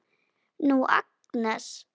Nú, Agnes.